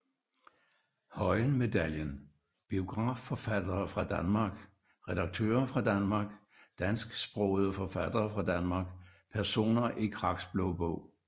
Høyen Medaljen Biografiforfattere fra Danmark Redaktører fra Danmark Dansksprogede forfattere fra Danmark Personer i Kraks Blå Bog